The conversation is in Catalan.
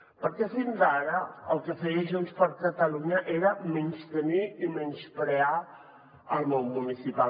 perquè fins ara el que feia junts per catalunya era menystenir i menysprear el món municipal